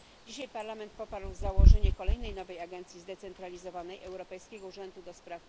Dzisiaj Parlament poparł założenie kolejnej nowej agencji zdecentralizowanej Europejskiego Urzędu ds.